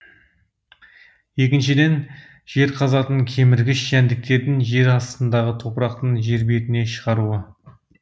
екіншіден жер қазатын кеміргіш жәндіктердің жер астындағы топырақтың жер бетіне шығаруы